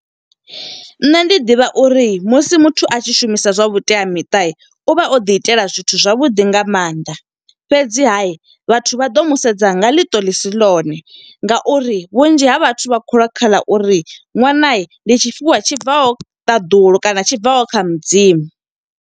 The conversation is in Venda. Nṋe ndi ḓivha uri musi muthu a tshi shumisa zwa vhuteamiṱa, uvha o ḓi itela zwithu zwavhuḓi nga maanḓa. Fhedziha vhathu vha ḓo musedza nga ḽiṱo ḽisi ḽone nga uri vhunzhi ha vhathu vha kholwa kha ḽa uri ṅwana ndi tshifhiwa tshi bvaho ṱaḓulu kana tshi bvaho kha mudzimu.